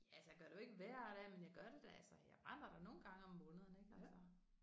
Ja altså jeg gør det jo ikke hver dag men jeg gør det da altså jeg brænder da nogle gange om måneden ikke altså